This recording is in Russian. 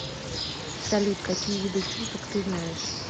салют какие виды чусок ты знаешь